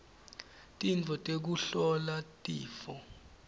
tintfo tekuhlola tifo